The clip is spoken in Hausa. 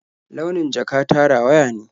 Launin jaka ta rawaya ne.